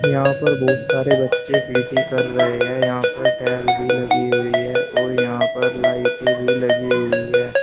यहां पर बहुत सारे बच्चे पी_टी कर रहे हैं यहां पर टाइल भी लगी हुई है और यहां पर लाइटें भी लगी हुई है।